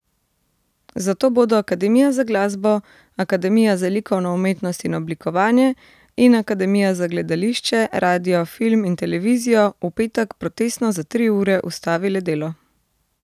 Zato bodo Akademija za glasbo, Akademija za likovno umetnost in oblikovanje in Akademija za gledališče, radio, film in televizijo v petek protestno za tri ure ustavile delo.